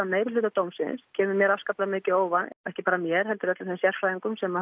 meirihluta dómsins kemur mér afskaplega mikið á óvart ekki bara mér heldur öllum þeim sérfræðingum sem